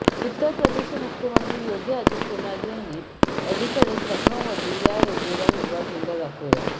उत्तर प्रदेशचे मुख्यमंत्री योगी आदित्यनाथ यांनी अलीकडेच लखनौमध्ये या रेल्वेला हिरवा झेंडा दाखवला